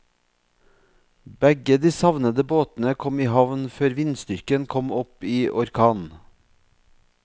Begge de savnede båtene kom i havn før vindstyrken kom opp i orkan.